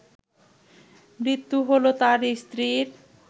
মৃত্যু হলো তার স্ত্রীর